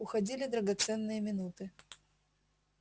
уходили драгоценные минуты